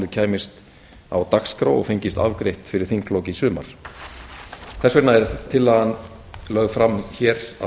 kæmist á dagskrá og fengist afgreitt fyrir þinglok í sumar þess vegna er tillagan lögð fram hér að